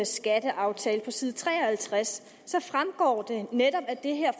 skatteaftale så side tre og halvtreds netop af det her